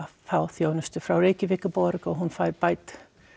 fá þjónustu frá Reykjavíkurborg og hún fær bætur